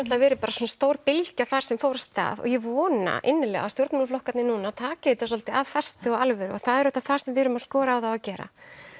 verið bara svona stór bylgja þar sem fór af stað og ég vona innilega að stjórnmálaflokkarnir núna taki þetta svolítið af festu og af alvöru og það er auðvitað það sem við erum að skora á þá að gera